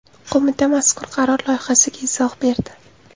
Qo‘mita mazkur qaror loyihasiga izoh berdi .